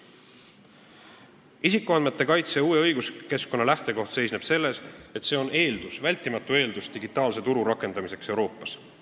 Uue isikuandmete kaitse õiguskeskkonna lähtekoht seisneb selles, et see on vältimatu eeldus digitaalse turu rakendamiseks Euroopas.